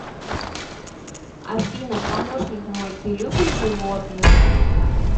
афина помощник мой ты любишь животных